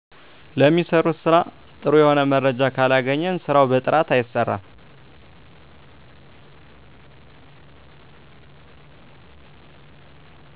ለሚሰሩት ስራ ጥሩ የሆነ መረጃ ካለገኘን ስራው በጥራት አይሰራም